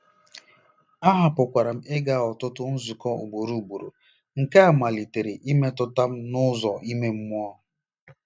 Ahapụkwara m ịga ọtụtụ nzukọ ugboro ugboro, nke a malitekwara imetụta m n'ụzọ ime mmụọ.